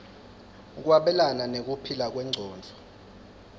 kwabelana nekuphila kwengcondvo